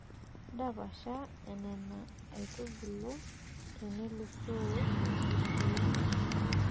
Ndapasha nena aitubulu tenelusoo wikii uni.